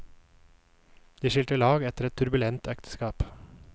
De skilte lag etter et turbulent ekteskap.